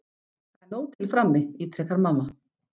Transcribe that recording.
Það er nóg til frammi, ítrekar mamma.